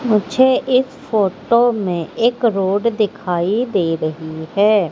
मुझे इस फोटो में एक रोड दिखाई दे रही है।